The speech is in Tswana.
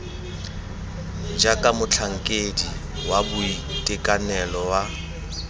jaaka motlhankedi wa boitekanelo wa